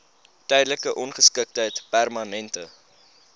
tydelike ongeskiktheid permanente